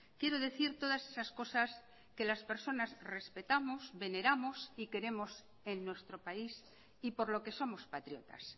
quiero decir todas esas cosas que las personas respetamos veneramos y queremos en nuestro país y por lo que somos patriotas